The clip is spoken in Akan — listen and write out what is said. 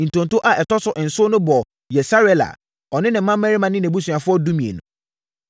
Ntonto a ɛtɔ so nson no bɔɔ Yesarela, ɔne ne mmammarima ne nʼabusuafoɔ (12)